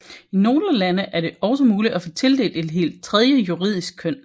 I nogle lande er det også muligt at få tildelt et helt tredje juridisk køn